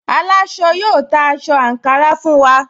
Aláṣọ yóò ta aṣọ àǹkárá fún wa